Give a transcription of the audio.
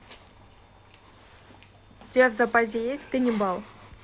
у тебя в запасе есть ганнибал